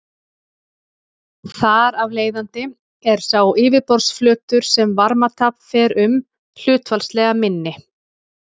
Þar af leiðandi er sá yfirborðsflötur sem varmatap fer um hlutfallslega minni.